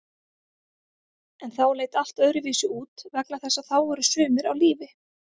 En þá leit allt öðruvísi út vegna þess að þá voru sumir á lífi.